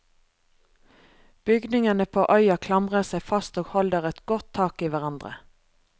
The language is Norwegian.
Bygningene på øya klamrer seg fast og holder et godt tak i hverandre.